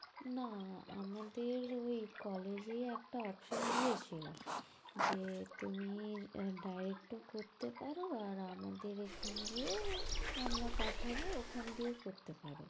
না আমাদের ঐ college এ একটা option দিয়েছিল যে তুমি আহ direct ও করতে পারো আর আমাদের এখান দিয়েও আমরা পাঠাবো ওখান দিয়েও করতে পারো।